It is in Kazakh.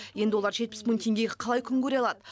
енді олар жетпіс мың теңгеге қалай күн көре алады